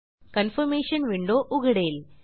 confirmation window उघडेल